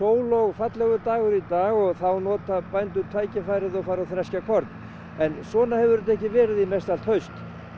og fallegur dagur í dag og þá nota bændur tækifærið og fara og þreskja korn en svona hefur þetta ekki verið í mestallt haust